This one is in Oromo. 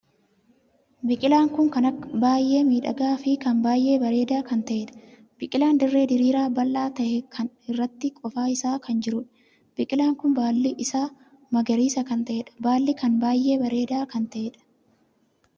Biqilaan kun kan baay'ee miidhagaa fi kan baay'ee bareedaa kan taheedha. biqilaan dirree diriiraa bal'aa tahe kan irratti qofaa isaa kan jiruudha. biqilaan kun baalli isaa magariisa kan taheedha. baalli kan baay'ee bareedaa kan tahedham!